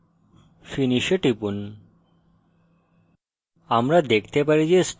তারপর finish এ টিপুন